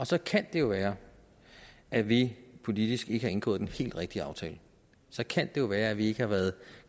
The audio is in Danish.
så kan det jo være at vi politisk ikke har indgået den her helt rigtige aftale så kan jo være at vi ikke har været